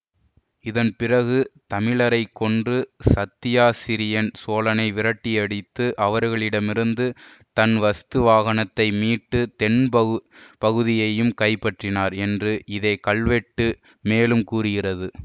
இதன் பிறகு தமிழரைக் கொன்று சத்தியாசிரயன் சோழனை விரட்டியடித்து அவரிடமிருந்து தன் வஸ்துவாகனத்தை மீட்டு தென் பகு பகுதியையும் கைப்பற்றினார் என்று இதே கல்வெட்டு மேலும் கூறுகிறது